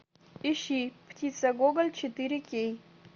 ищи птица гоголь четыре кей